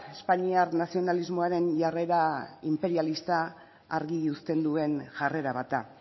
espainiar nazionalismoaren jarrera inperialista argi uzten duen jarrera bat da